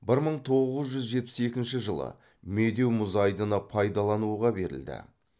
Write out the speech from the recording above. бір мың тоғыз жүз жетпіс екінші жылы медеу мұз айдыны пайдалануға берілді